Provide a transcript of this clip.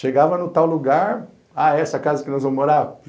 Chegava no tal lugar, ah, é essa casa que nós vamos morar?